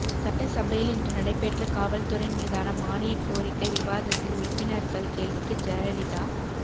சட்டசபையில் இன்று நடைபெற்ற காவல் துறை மீதான மானியக் கோரிக்கை விவாதத்தில் உறுப்பினர்கள் கேள்விக்கு ஜெயலலிதா